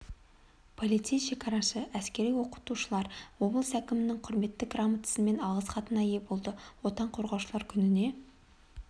полицей шекарашы әскери оқытушылар облыс әкімінің құрмет грамотасы мен алғыс хатына ие болды отан қорғаушылар күніне